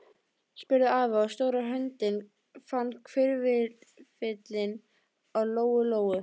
spurði afi, og stóra höndin fann hvirfilinn á Lóu Lóu.